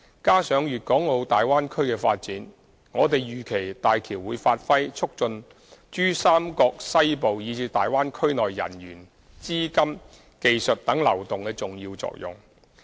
加上粵港澳大灣區的發展，我們預期大橋會發揮促進珠三角西部以至大灣區內人員、資金、技術等流動的重要作用。